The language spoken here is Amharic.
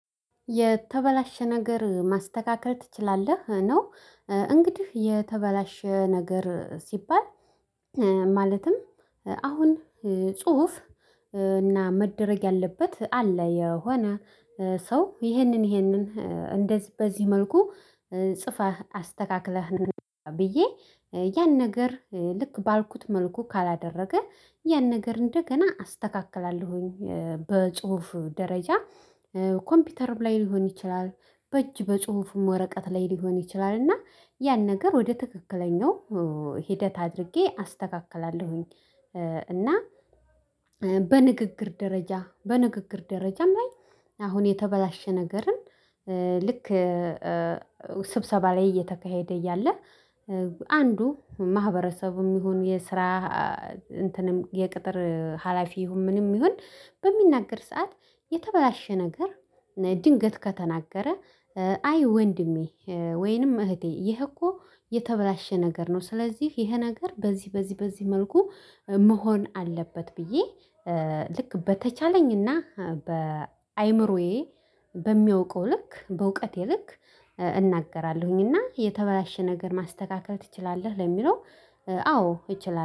የተበላሸ ነገር ማስተካከል ትችላለህ ነው? እንግዲህ የተበላሸ ነገር ሲባል። ማለትም አሁን ጽሁፍ እና መደረግ ያለበት አለ። የሆነ ሰው ይሄንን ይሄንን እንደዚህ በዚህ መልኩ ጽፈህ አስተካክለህ ና ብዬ ያን ነገር ልክ ባልኩት መልኩ ካላደረገ ያን ነገር እንደገና አስተካክላለሁኝ። በጽሁፍ ደረጃ ኮምፒውተርም ላይ ሊሆን ይችላል። በእጅ በጽሁፍም ወረቀት ላይ ሊሆን ይችላል እና ያን ነገር ወደ ትክክለኛው ሂደት አድርጌ አስተካክላለሁኝ። እና በንግግር ደረጃ በንግግር ደረጃም ላይ አሁን የተበላሸ ነገርን ልክ ስብሰባ ላይ እየተካሄደ እያለ። አንዱ ማህበረሰቡም ይሁን የስራ እንትንም የቅጥር ሀላፊ ይሁን ምንም ይሁን በሚናገር ሰዓት የተበላሸ ነገር ድንገት ከተናገረ አይ ወንድሜ ወይንም እህቴ ይሄ እኮ የተበላሸ ነገር ነው። ስለዚህ ይሄ ነገር በዚህ በዚህ በዚህ መልኩ መሆን አለበት። ብዬ ልክ በተቻለኝና በአእምሮዬ በሚያውቀው ልክ በእውቀቴ ልክ እናገራለሁኝና የተበላሸ ነገር ማስተካከል ትችላለህ ለሚለው አዎ እችላለሁ